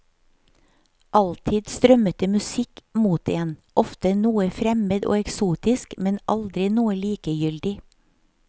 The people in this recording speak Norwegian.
Alltid strømmet det musikk mot en, ofte noe fremmed og eksotisk, men aldri noe likegyldig.